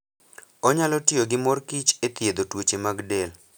Onyalo tiyo gi mor kich e thiedho tuoche mag del.